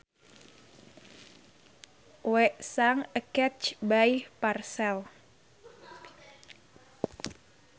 We sang a catch by Purcell